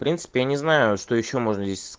в я не знаю что ещё можно здесь